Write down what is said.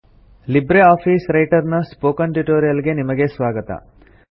Libre Office Writer ನ spoken tutorial ಗೆ ನಿಮಗೆ ಸ್ವಾಗತ